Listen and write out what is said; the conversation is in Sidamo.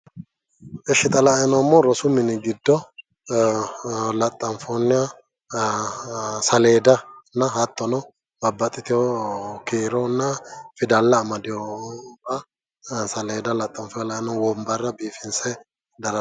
Ishi xa la'anni noommohu rosu mini giddo laxxanfoonniha saleedanna hattono kiironna fidalla amadewooha saleeda wonbarra biifinse daradaroonni.